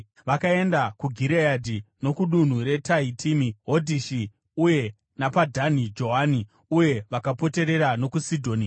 Vakaenda kuGireadhi nokudunhu reTahitimi Hodhishi, uye napaDhani Joani uye vakapoterera nokuSidhoni.